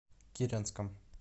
киренском